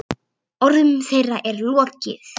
Orðum þeirra er lokið.